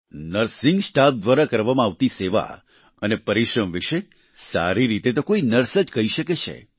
nursing staff દ્વારા કરવામાં આવતી સેવા અને પરિશ્રમ વિશે સારી રીતે તો કોઈ નર્સ જ કહી શકે છે